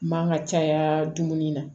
Man ka caya dumuni na